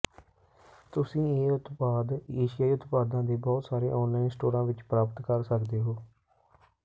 ਤੁਸੀਂ ਇਹ ਉਤਪਾਦ ਏਸ਼ੀਆਈ ਉਤਪਾਦਾਂ ਦੇ ਬਹੁਤ ਸਾਰੇ ਆਨਲਾਈਨ ਸਟੋਰਾਂ ਵਿੱਚ ਪ੍ਰਾਪਤ ਕਰ ਸਕਦੇ ਹੋ